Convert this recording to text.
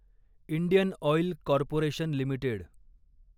Indian oil corporation limited